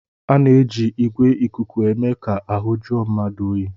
A na-eji igwè ìkùkù eme ka ahụ jụọ mmadụ oyi